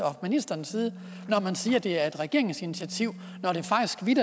og ministerens side når man siger at det er et regeringsinitiativ